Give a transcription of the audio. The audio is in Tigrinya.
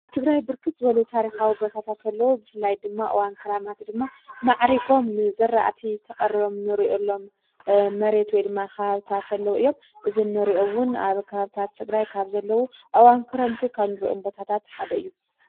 ኣትግራይ ብርክት ዝበሉ ታሪኻዊ ቦታታተለዉ ብፍላይ ድማ ኣዋንክራማት ድማ ማዕሪጎም ዘራእቲ ተቐርዮም ኖርዑሎም መሬት ወድማ ኽሃብታተለዉ እዮም እዝነርኦውን ኣብ ኻብታት ተግራይ ካብ ዘለዉ ኣዋንክረንቲ ኸብ ንርእኦም ቦታታትሓደ እዩ።